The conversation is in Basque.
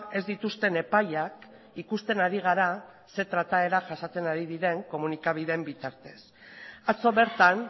ez dituzten epaiak ikusten ari gara zein trataera jasaten ari diren komunikabideen bitartez atzo bertan